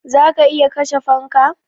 Za ka iya kashe fanka?